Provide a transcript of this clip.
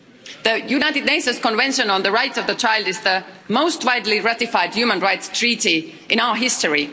The United Nations Convention on the Rights of the Child is the most widely ratified human rights treaty in our history.